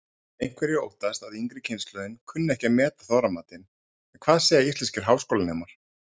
Einhverjir óttast að yngri kynslóðin kunni ekki að meta Þorramatinn en hvað segja íslenskir háskólanemar?